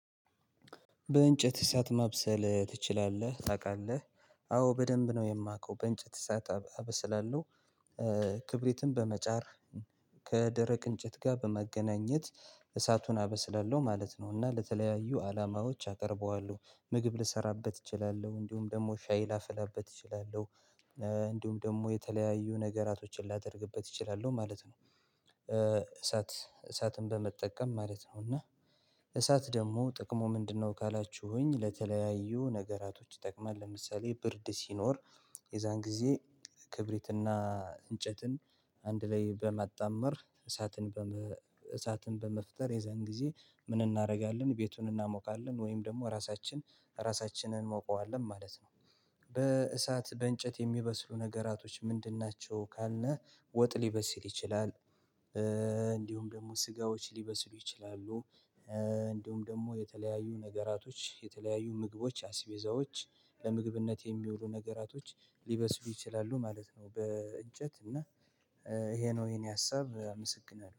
በእንጨት እሳት ማብሰል ትችላለህ ታውቃለህ? አዎ በደንብ ነው የማውቀው በእንጨት እሳት አበስላለሁ። ክብሪትን በመጫር ከደረቅ እንጨት ጋር በመገናኘት እሳቱን አበስላለሁ ማለት ነው። እና ለተለያዩ አላማዎች አቀርበዋለሁ ምግብ ልሰራበት እችላለሁ እንዲሁም ደግሞ ሻይ ላፍላበት እችላለሁ። እንዲሁም ደግሞ የተለያዩ ነገራቶችን ላደርግበት እችላለሁ ማለት ነው። እሳት እሳትን በመጠቀም ማለት ነው እና እሳት ደግሞ ጥቅሙ ምንድነው? ካላችሁኝ ለተለያዩ ነገራቶች ይጠቅማል ለምሳሌ ብርድ ሲኖር የዛን ጊዜ። እንጨትን አንድ ላይ በማጣመር። እሳትን በመፍጠር የዛን ጊዜ ምን እናደርጋለን? ቤቱን እናሞቃለን ወይም ደግሞ ራሳችን ራሳችንን እንሞቀዋለን ማለት ነው። በእሳት በእንጨት የሚበስሉ ነገራቶች ምንድን ናቸው ካልነህ? ወጥ ሊበስል ይችላል። እንዲሁም ደግሞ ስጋዎች ሊበስሉ ይችላሉ። እንዲሁም ደግሞ የተለያዩ ነገራቶች የተለያዩ ምግቦች አስቤዛዎች ለምግብነት የሚውሉ ነገራቶች ሊበስሉ ይችላሉ ማለት ነው። በእንጨት እና ይሄ ነው ይሄን ያሳብ መሰግናል